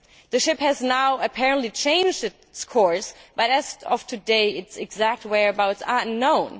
The ship has now apparently changed its course, but as of today its exact whereabouts are unknown.